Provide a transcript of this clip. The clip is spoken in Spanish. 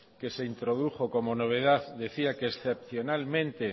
que se introdujo como novedad decía que excepcionalmente